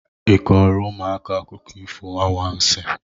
ị kọọrọ ụmụaka akụkọ ifo anwansị?